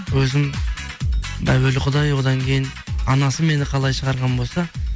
өзім әуелі құдай одан кейін анасы мені қалай шығарған болса